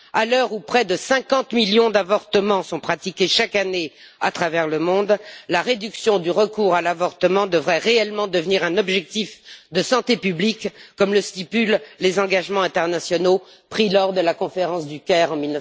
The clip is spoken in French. À l'heure où près de 50 millions d'avortements sont pratiqués chaque année à travers le monde, la réduction du recours à l'avortement devrait réellement devenir un objectif de santé publique, comme le stipulent les engagements internationaux pris lors de la conférence du Caire en